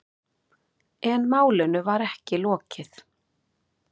En málinu var ekki lokið.